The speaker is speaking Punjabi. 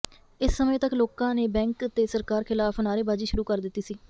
ਇਸ ਸਮੇਂ ਤੱਕ ਲੋਕਾਂ ਨੇ ਬੈਂਕ ਤੇ ਸਰਕਾਰ ਖ਼ਿਲਾਫ਼ ਨਾਅਰੇਬਾਜ਼ੀ ਸ਼ੁਰੂ ਕਰ ਦਿੱਤੀ ਸੀ